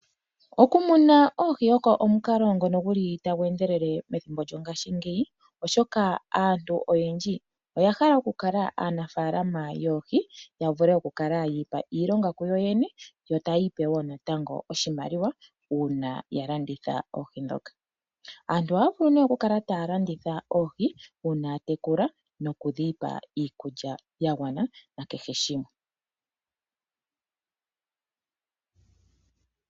Okumuna oohi oko omukalo ngono gu li tagu endelele methimbo lyongashingeyi, oshoka aantu oyendji oya hala okukala aanafaalama yoohi, ya vule okukala yi ipa iilonga kuyo yene yo taya ipe wo natango oshimaliwa uuna ya landitha oohi ndhoka. aantu ohaya vulu nee okukala taya landitha oohi, uuna ya tekula nokudhi pa iikulya ya gwana nakehe shimwe.